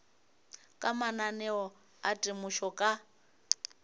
ka mananeo a temošo ka